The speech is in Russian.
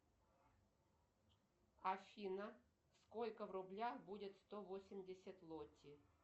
афина сколько в рублях будет сто восемьдесят лоти